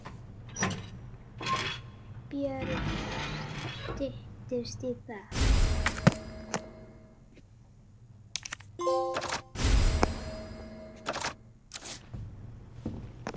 Björn: Styttist í það?